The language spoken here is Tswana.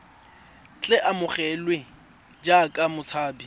tle a amogelwe jaaka motshabi